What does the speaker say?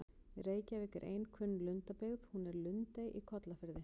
Við Reykjavík er ein kunn lundabyggð, hún er í Lundey á Kollafirði.